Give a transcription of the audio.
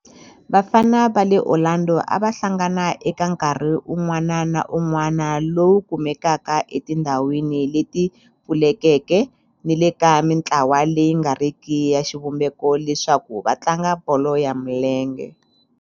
Vafana va le Orlando a va hlangana eka nkarhi wun'wana na wun'wana lowu kumekaka etindhawini leti pfulekeke ni le ka mintlawa leyi nga riki ya xivumbeko leswaku va tlanga bolo ya milenge.